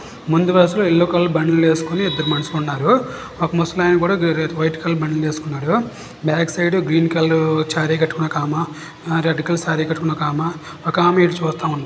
ముందు వరస లో ఎల్లో కలర్ బనియన్ లు వేసుకొని ఇద్దరు మనుషులు ఉన్నారు ఒక ముషాలయన కూడా వైట్ కలర్ బనియన్ వేసుకున్నాడు. Back side green colour sari కట్టుకొని ఒక ఆమె రెడ్ కలర్ సారీ కట్టుకొని ఆమె ఒక ఆమె ఇటు చూస్తా ఉంది.